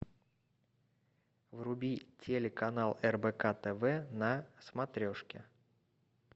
вруби телеканал рбк тв на смотрешке